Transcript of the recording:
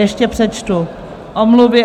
Ještě přečtu omluvy.